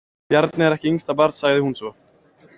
Bjarni er ekki yngsta barn, sagði hún svo.